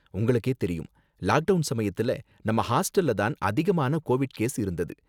உங்களுக்கே தெரியும், lockdown சமயத்துல நம்ம ஹாஸ்டல்ல தான் அதிகமான கோவிட் கேஸ் இருந்தது